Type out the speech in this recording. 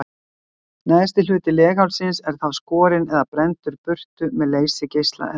Neðsti hluti leghálsins er þá skorinn eða brenndur burtu með leysigeisla eða hníf.